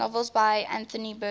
novels by anthony burgess